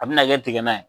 A bɛna kɛ tiga ye